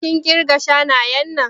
Kin ƙirga shanayen nan?